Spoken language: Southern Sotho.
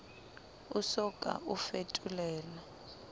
o so ka o fetolelwa